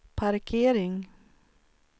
parkering